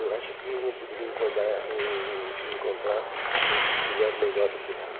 Eu acho que ele não poderia encolhar en encontrar uma mulher melhor do que ela.